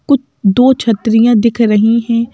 कुछ दो छत्रियां दिख रही हैं।